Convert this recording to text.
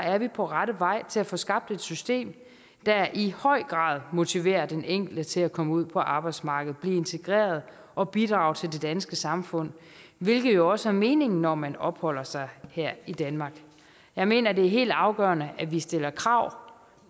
er vi på rette vej til at få skabt et system der i høj grad motiverer den enkelte til at komme ud på arbejdsmarkedet blive integreret og bidrage til det danske samfund hvilket jo også er meningen når man opholder sig her i danmark jeg mener det er helt afgørende at vi stiller krav